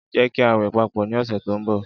Jẹ ki a wẹ papọ ni ọsẹ to nbo.